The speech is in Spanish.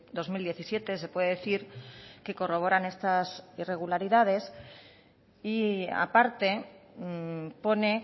dos mil diecisiete se puede decir que corroboran estas irregularidades y aparte pone